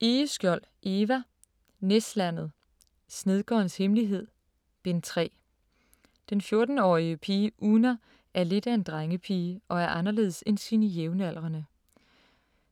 Egeskjold, Eva: Næslandet: Snedkerens hemmelighed: Bind 3 Den 14-årige pige Oona er lidt af en drengepige og er anderledes end sine jævnaldrende.